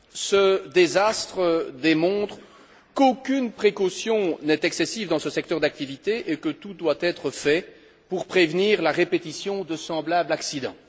Ce désastre démontre qu'aucune précaution n'est excessive dans ce secteur d'activité et que tout doit être fait pour prévenir la répétition de semblable accident.